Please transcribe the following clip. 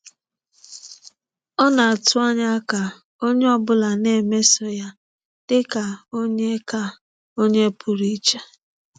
Ọ na-atụ anya ka onye ọ bụla na-emeso ya dị ka onye ka onye pụrụ iche.